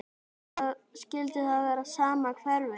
Skyldi það vera sama hverfið?